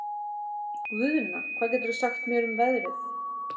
Guðna, hvað geturðu sagt mér um veðrið?